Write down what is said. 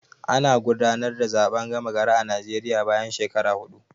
Ana gudanar da zaɓen gama gari a Naijeriya bayan shekara huɗu